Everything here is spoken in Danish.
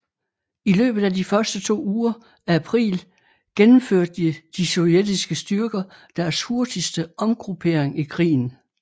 I løbet af de første to uger af april gennemførte de sovjetiske styrker deres hurtigste omgruppering i krigen